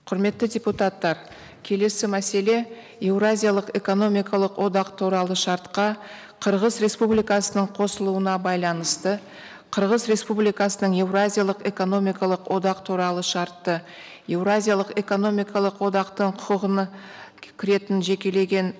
құрметті депутаттар келесі мәселе еуразиялық экономикалық одақ туралы шартқа қырғыз республикасының қосылуына байланысты қырғыз республикасының еуразиялық экономикалық одақ туралы шартты еуразиялық экономикалық одақтың құқығына кіретін жекелеген